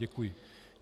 Děkuji.